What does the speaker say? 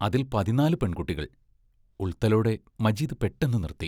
അതിൽ പതിന്നാലു പെൺകുട്ടികൾ ഉൾത്തലോടെ മജീദ് പെട്ടെന്ന് നിറുത്തി.